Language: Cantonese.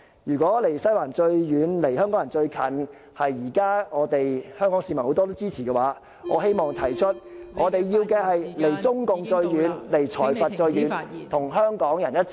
如果"離西環最遠，離香港人最近"是現時很多香港市民所支持的論調，我希望提出......我們要的是"離中共最遠，離財閥最遠"，與香港人一起......